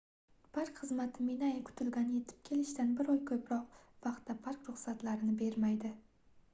park xizmati minae kutilgan yetib kelishdan bir oydan ko'proq vaqtga park ruxsatlarini bermaydi